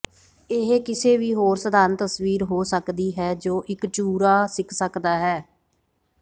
ਇਹ ਕਿਸੇ ਵੀ ਹੋਰ ਸਧਾਰਨ ਤਸਵੀਰ ਹੋ ਸਕਦੀ ਹੈ ਜੋ ਇੱਕ ਚੂਰਾ ਸਿੱਖ ਸਕਦਾ ਹੈ